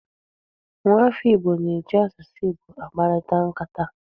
Nwaafọ Igbo na-eji asụsụ Igbo akparịta nkata.